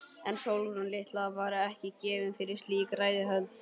En Sólrún litla var ekki gefin fyrir slík ræðuhöld.